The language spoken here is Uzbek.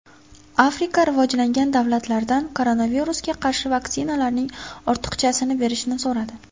Afrika rivojlangan davlatlardan koronavirusga qarshi vaksinalarning ortiqchasini berishni so‘radi.